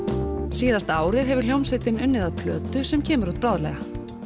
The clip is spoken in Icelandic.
síðasta árið hefur hljómsveitin unnið að plötu sem kemur út bráðlega